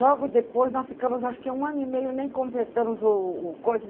Logo depois, nós ficamos, acho que um ano e meio, nem completamos o o coisa.